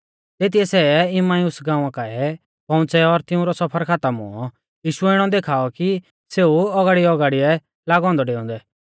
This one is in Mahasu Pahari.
तेतीयै सै इम्माउस गाँवा काऐ पौउंच़ै और तिऊंरौ सफर खातम हुऔ यीशुऐ इणौ देखाऔ कि सेऊ औगाड़ीऔगाड़िऐ लागौ औन्दौ डेउंदै